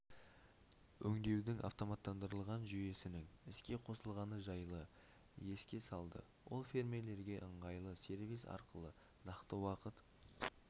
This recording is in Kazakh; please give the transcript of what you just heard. өңдеудің автоматтандырылған жүйесінің іске қосылғаны жайлы еске салды ол фермерлерге ыңғайлы сервис арқылы нақты уақыт